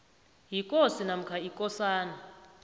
yikosi namkha ikosana